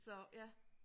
Så ja